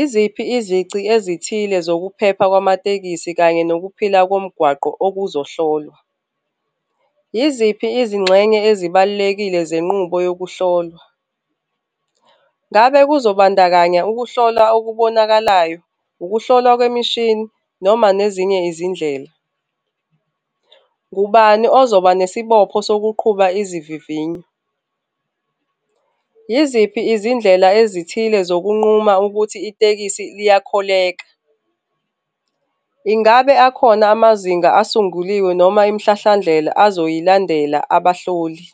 Iziphi izici ezithile zokuphepha kwamatekisi kanye nokuphila komgwaqo okuzohlolwa? Yiziphi izingxenye ezibalulekile zenqubo yokuhlolwa? Ngabe kuzobandakanya ukuhlolwa okubonakalayo, ukuhlolwa kwemishini noma nezinye izindlela? Ngubani ozoba nesibopho sokuqhuba izivivinyo? Yiziphi izindlela ezithile zokunquma ukuthi itekisi liyakholeka? Ingabe akhona amazinga asunguliwe noma imihlahlandlela azoyilandela abahloli?